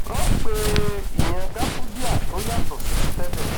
wọn pè é ìyẹn gáfúdíà tó yàtọ sí ti tẹlẹ